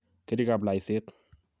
karikab laiset